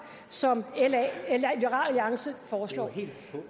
som liberal alliance foreslår